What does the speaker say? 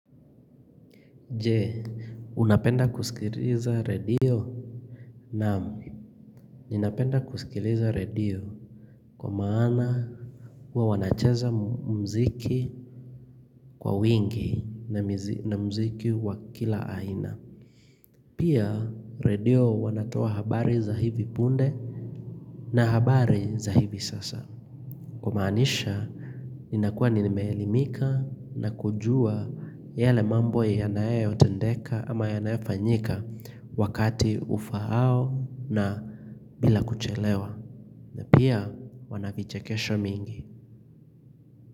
Je unapenda kusikiliza radio naam ninapenda kusikiliza radio kwa maana huwa wanacheza mziki kwa wingi na muziki wa kila aina pia radio wanatoa habari za hivi punde na habari za hivi sasa kumaanisha Ninakua nimeelimika na kujua yale mambo yanayotendeka ama ya nayofanyika wakati ufao na bila kuchelewa na pia wana vichekesho mingi.